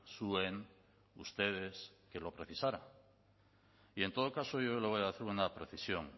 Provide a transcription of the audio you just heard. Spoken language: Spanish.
zuen ustedes que lo precisaran y en todo caso yo le voy a hacer una precisión